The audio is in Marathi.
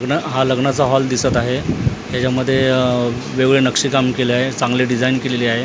न हा लग्नाचा हॉल दिसत आहे त्याच्यामध्ये वेगवेगळे नक्षीकाम केल आहे चांगले डिझाईन केलेले आहे.